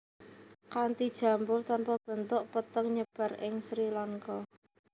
Kanti jambul tanpa bentuk petengNyebar ing Sri Lanka